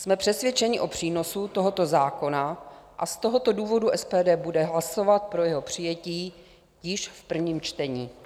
Jsme přesvědčeni o přínosu tohoto zákona a z tohoto důvodu SPD bude hlasovat pro jeho přijetí již v prvním čtení.